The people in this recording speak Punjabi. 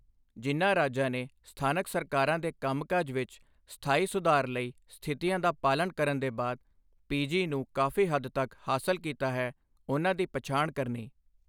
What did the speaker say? ਜਿਨ੍ਹਾਂ ਰਾਜਾਂ ਨੇ ਸਥਾਨਕ ਸਰਕਾਰਾਂ ਦੇ ਕੰਮਕਾਜ ਵਿੱਚ ਸਥਾਈ ਸੁਧਾਰ ਲਈ ਸਥਿਤੀਆਂ ਦਾ ਪਾਲਣ ਕਰਨ ਦੇ ਬਅਦ ਪੀਜੀ ਨੂੰ ਕਾਫ਼ੀ ਹੱਦ ਤੱਕ ਹਾਸਲ ਕੀਤਾ ਹੈ, ਉਨ੍ਹਾਂ ਦੀ ਪਛਾਣ ਕਰਨੀ।